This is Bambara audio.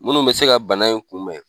Munnu bɛ se ka bana in kunbɛn.